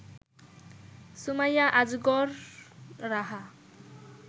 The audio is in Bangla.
সুমাইয়া আজগর রাহা